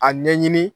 A ɲɛɲini